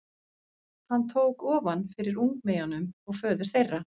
Hann tók ofan fyrir ungmeyjunum og föður þeirra.